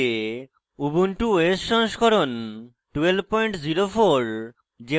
ubuntu os সংস্করণ 1204